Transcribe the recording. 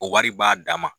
O wari b'a dama